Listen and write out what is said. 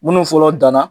Minnu fɔlɔ danna